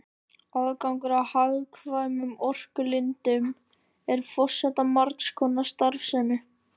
Aðgangur að hagkvæmum orkulindum er forsenda margs konar starfsemi.